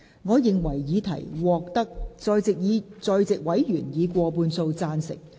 我認為議題獲得在席委員以過半數贊成。